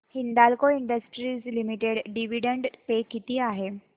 Hindalco Industries Limited dividend pay किती आहे